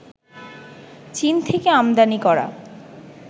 চীন থেকে আমদানি করা